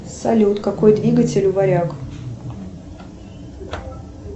салют какой двигатель у варяг